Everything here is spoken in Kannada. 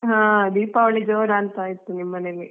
ಹಾ ದೀಪಾವಳಿ ಜೊರಂತಾಯಿತು ನಿಮ್ ಮನೆಯಲ್ಲಿ.